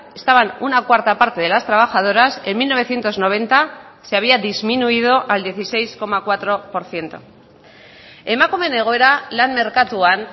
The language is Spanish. estaban una cuarta parte de las trabajadoras en mil novecientos noventa se había disminuido al dieciséis coma cuatro por ciento emakumeen egoera lan merkatuan